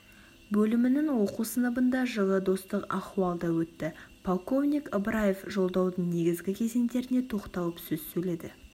бөлімінің оқу сыныбында жылы достық ахуалда өтті полковник ыбыраев жолдаудың негізгі кезеңдеріне тоқталып сөз сөйледі